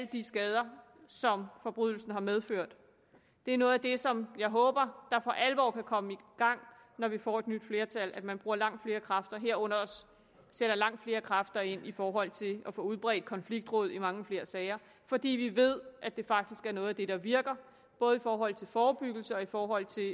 de skader som forbrydelsen har medført det er noget af det som jeg håber for alvor kan komme i gang når vi får et nyt flertal nemlig at man bruger langt flere kræfter herunder også sætter langt flere kræfter ind i forhold til at få udbredt konfliktråd i mange flere sager fordi vi ved at det faktisk er noget af det der virker både i forhold til forebyggelse og i forhold til